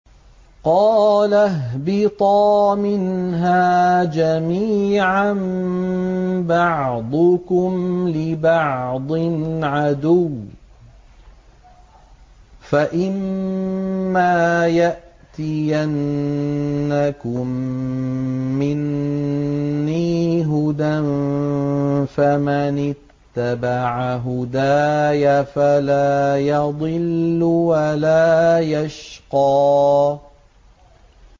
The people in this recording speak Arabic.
قَالَ اهْبِطَا مِنْهَا جَمِيعًا ۖ بَعْضُكُمْ لِبَعْضٍ عَدُوٌّ ۖ فَإِمَّا يَأْتِيَنَّكُم مِّنِّي هُدًى فَمَنِ اتَّبَعَ هُدَايَ فَلَا يَضِلُّ وَلَا يَشْقَىٰ